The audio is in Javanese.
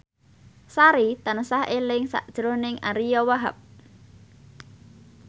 Sari tansah eling sakjroning Ariyo Wahab